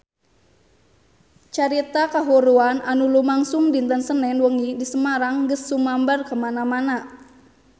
Carita kahuruan anu lumangsung dinten Senen wengi di Semarang geus sumebar kamana-mana